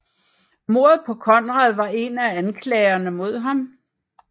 Mordet på Konrad var en af anklagerne mod ham